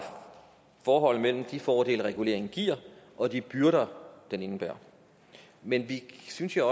forholdet mellem de fordele reguleringen giver og de byrder den indebærer men vi synes jo